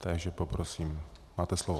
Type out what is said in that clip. Takže poprosím, máte slovo.